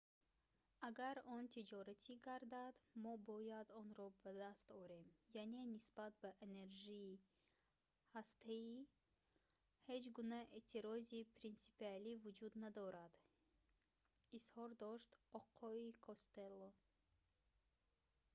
агар он тиҷоратӣ гардад мо бояд онро ба даст орем яъне нисбат ба энержии ҳастаӣ ҳеҷ гуна эътирози принсипиалӣ вуҷуд надорад изҳор дошт оқои костелло